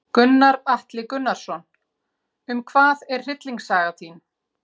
Gunnar Atli Gunnarsson: Um hvað er hryllingssaga þín?